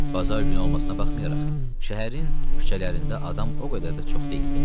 Bazar günü olmasına baxmayaraq, şəhərin küçələrində adam o qədər də çox deyildi.